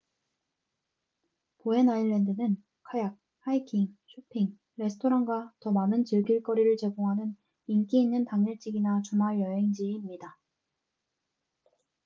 보엔 아일랜드는 카약 하이킹 쇼핑 레스토랑과 더 많은 즐길 거리를 제공하는 인기 있는 당일치기나 주말여행지입니다